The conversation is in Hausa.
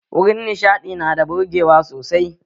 Wurin nishaɗi nada burgewa sosai